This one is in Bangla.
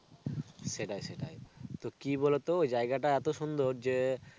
সেটাই সেটাই. তো কি বলতো ওই জায়গায়টা এতো সুন্দর যে,